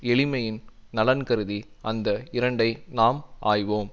எளிமையின் நலன்கருதி அந்த இரண்டை நாம் ஆய்வோம்